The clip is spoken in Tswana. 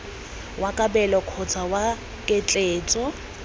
wa kabelo kgotsa wa ketleetso